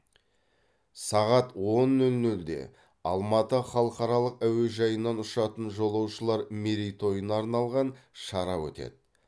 сағат он нөл нөлде алматы халықаралық әуежайынан ұшатын жолаушылар мерейтойына арналған шара өтеді